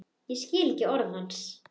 Skil ekki orð hans.